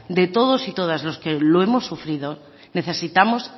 de todos y todas los que lo hemos sufrido necesitamos